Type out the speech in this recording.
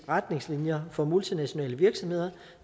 retningslinjer for multinationale virksomheder